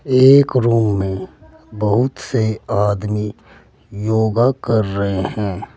एक रूम है बहुत से आदमी योगा कर रहे हैं।